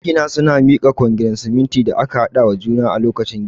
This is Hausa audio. Magina suna mika kwangirin siminti da aka haɗa wa juna a lokacin gini